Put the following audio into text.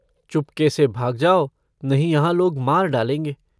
चुपके से भाग जाओ नहीं यहाँ लोग मार डालेंगे।